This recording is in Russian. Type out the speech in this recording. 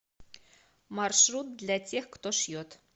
маршрут для тех кто шьет